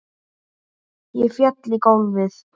Ég fell í gólfið.